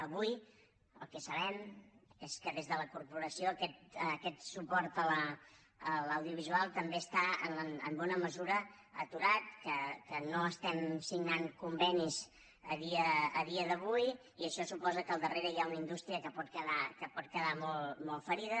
avui el que sabem és que des de la corporació aquest suport a l’audiovisual també està en bona mesura aturat que no estem signant convenis a dia d’avui i això suposa que al darrere hi ha una indústria que pot quedar molt ferida